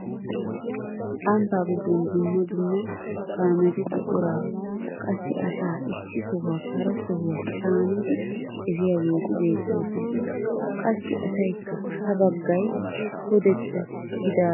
Ambbaa giddon dumma dumma kaameti buquraa qassi asaa issi sohuwaappe hara sohuwaa caanidi efiyaageti beettoosona. qassi asaykka ha baggay pudetta gidaara kiyyiidi de'ees.